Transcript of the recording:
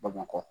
Bamakɔ